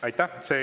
Aitäh!